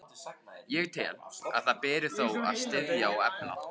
Ég tel, að það beri þó að styðja og efla,